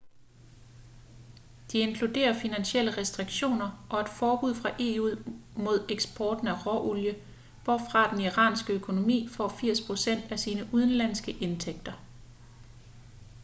de inkluderer finansielle restriktioner og et forbud fra eu mod eksporten af råolie hvorfra den iranske økonomi får 80% af sine udenlandske indtægter